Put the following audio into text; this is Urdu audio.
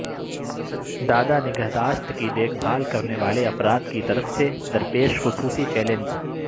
دادا نگہداشت کی دیکھ بھال کرنے والے افراد کی طرف سے درپیش خصوصی چیلنجز